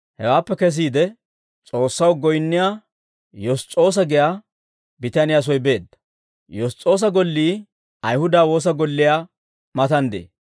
Hewaappe kesiide, S'oossaw goyinniyaa Yoss's'oosa giyaa bitaniyaa soy beedda; Yoss's'oosa gollii Ayihuda woosa golliyaa matan de'ee.